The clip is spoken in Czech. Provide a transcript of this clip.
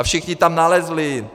A všichni tam nalezli.